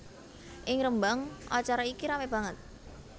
Ing Rembang acara iki ramé banget